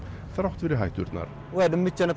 þrátt fyrir hætturnar